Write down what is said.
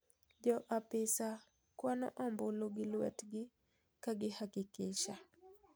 Jo apisa kwano ombulu gi lwetgi ka gihakikisha.